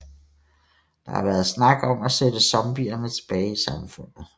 Der har været snak om at sætte zombierne tilbage i samfundet